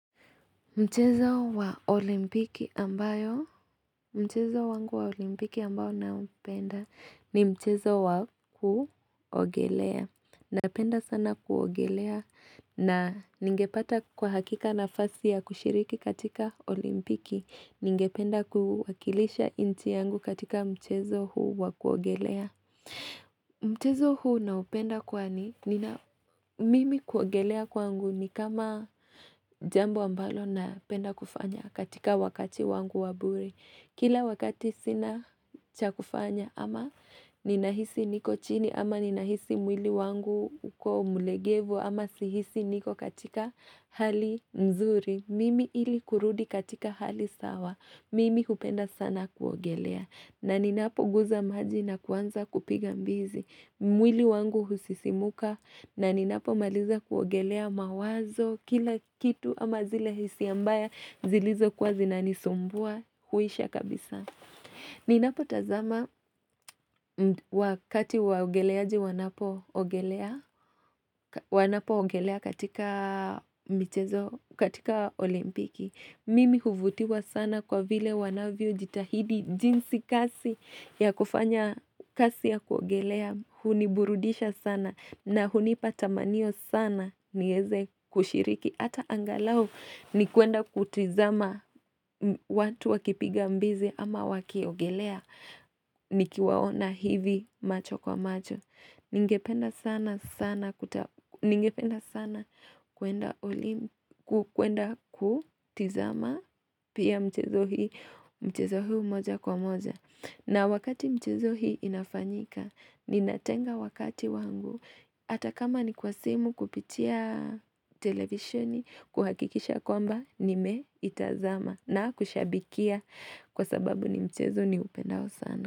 Mchezo wa olimpiki ambayo, mchezo wangu wa olimpiki ambao naupenda ni mchezo wa kuogelea, napenda sana kuogelea, na ningepata kwa hakika nafasi ya kushiriki katika olimpiki, ningependa kuwakilisha inchi yangu katika mchezo huu wa kuogelea Mtezo huu naupenda kwani, nina mimi kuongelea kwangu ni kama jambo ambalo napenda kufanya katika wakati wangu wa bure. Kila wakati sina cha kufanya ama ninahisi niko chini ama ninahisi mwili wangu uko mulegevu ama sihisi niko katika hali nzuri. Mimi ili kurudi katika hali sawa, mimi hupenda sana kuogelea. Na ninapoguza maji na kuanza kupiga mbizi mwili wangu husisimuka na ninapomaliza kuogelea mawazo Kila kitu ama zile hisia mbaya zilizokuwa zinanisumbua huisha kabisa Ninapotazama wakati waogeleaji wanapoogelea Wanapoogelea katika michezo katika olimpiki Mimi huvutiwa sana kwa vile wanavyojitahidi jinsi kasi ya kufanya kasi ya kuogelea huniburudisha sana na hunipa tamanio sana nieze kushiriki Ata angalau ni kuenda kutizama watu wakipiga mbizi ama wakiogelea Nikiwaona hivi macho kwa macho. Ningependa sana Ningependa sana kuenda kutizama Pia mchezo hii Mchezo huu moja kwa moja na wakati mchezo hii inafanyika, ninatenga wakati wangu, atakama ni kwa simu kupitia televisheni, kuhakikisha kwamba, nimeitazama na kushabikia kwa sababu ni mchezo niupendao sana.